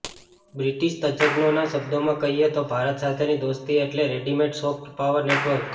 British તજજ્ઞોના શબ્દોમાં કહીએ તો ભારત સાથેની દોસ્તી એટલે રેડીમેડ સોફ્ટ પાવર નેટવર્ક